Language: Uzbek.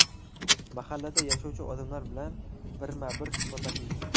Mahallada yashovchi odamlar bilan birma-bir suhbatlashildi.